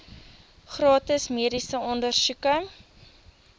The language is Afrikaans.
gratis mediese ondersoeke